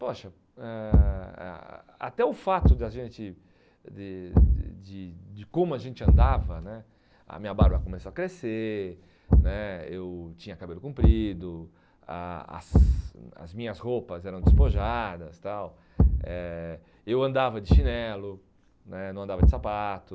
Poxa, eh ah ah até o fato da gente de de de como a gente andava né, a minha barba começou a crescer né, eu tinha cabelo comprido, a as as minhas roupas eram despojadas tal, eh eu andava de chinelo né, não andava de sapato.